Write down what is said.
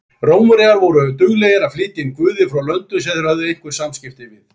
Rómverjar voru duglegir að flytja inn guði frá löndum sem þeir höfðu einhver samskipti við.